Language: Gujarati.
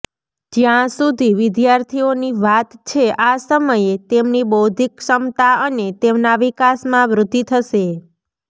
જ્યાં સુધી વિદ્યાર્થીઓની વાત છે આ સમયે તેમની બૌદ્ધિક ક્ષમતા અને તેમના વિકાસમાં વૃદ્ધિ થશે